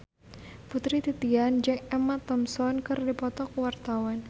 Putri Titian jeung Emma Thompson keur dipoto ku wartawan